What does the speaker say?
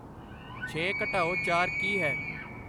ਛੇ ਘਟਾਓ ਚਾਰ ਕੀ ਹੈ